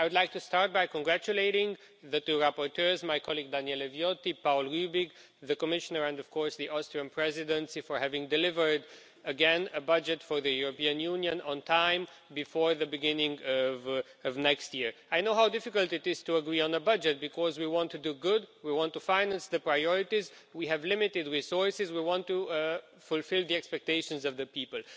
I would like to start by congratulating the two rapporteurs, my colleague Daniele Viotti, Paul Rübig, the Commissioner and the Austrian Presidency, for having delivered again a budget for the European Union on time before the beginning of next year. I know how difficult it is to agree on a budget because we want to do good, we want to finance the priorities, we have limited resources, we want to fulfil the expectations of the people.